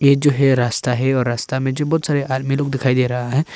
जो है रास्ता है और रास्ता में जो बहुत सारे आदमी लोग दिखाई दे रहा है।